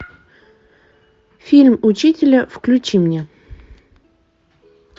фильм учителя включи мне